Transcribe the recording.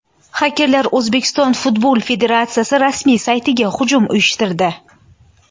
Xakerlar O‘zbekiston futbol federatsiyasi rasmiy saytiga hujum uyushtirdi.